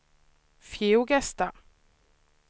Fjugesta